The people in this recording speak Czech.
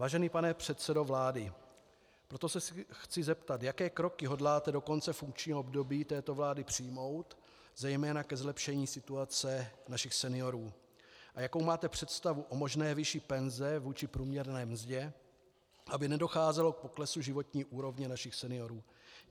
Vážený pane předsedo vlády, proto se chci zeptat, jaké kroky hodláte do konce funkčního období této vlády přijmout zejména ke zlepšení situace našich seniorů a jakou máte představu o možné výši penze vůči průměrné mzdě, aby nedocházelo k poklesu životní úrovně našich seniorů.